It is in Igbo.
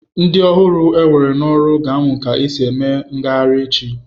Ndị ọhụrụ ewere n'ọrụ ga-amụ ka e si eme ngagharị echi.